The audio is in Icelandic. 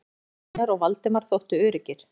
Magnús, Einar og Valdemar þóttu öruggir.